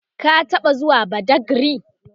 ka taɓa zuwa badagry?